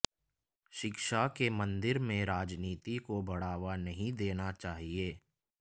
शिक्षा के मंदिर में राजनीति को बढ़ावा नहीं देना चाहिए